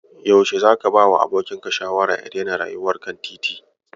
Yaushe zaka bawa abokinka shawara ya daina rayuwar kan titin?